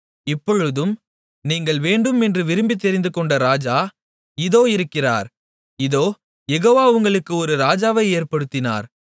இப்பொழுதும் நீங்கள் வேண்டும் என்று விரும்பித் தெரிந்துகொண்ட ராஜா இதோ இருக்கிறார் இதோ யெகோவா உங்களுக்கு ஒரு ராஜாவை ஏற்படுத்தினார்